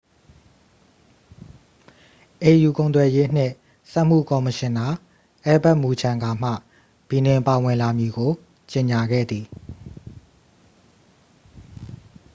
au ကုန်သွယ်ရေးနှင့် စက်မှု ကော်မရှင်နာ အယ်လ်ဘတ် မူချန်ဂါမှ ဘီနင်ပါဝင်လာမည်ကို ကြေငြာခဲ့သည်